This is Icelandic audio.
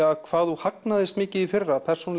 hvað þú hagnaðist mikið í fyrra persónulega